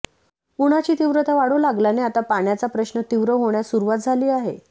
उन्हाची तीव्रता वाढू लागल्याने आता पाण्याचा प्रश्न तीव्र होण्यास सुरुवात झाली आहे